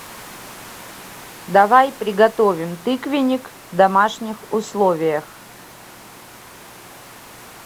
давай приготовим тыквенник в домашних условиях